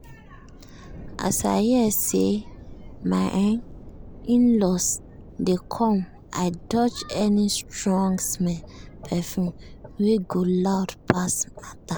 as i hear say my um in-laws dey come i dodge any strong-smell perfume wey go loud pass matter.